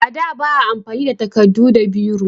A da ba a amfani da takardu da biro